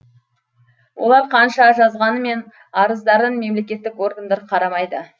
олар қанша жазғанымен арыздарын мемлекеттік органдар қарамайды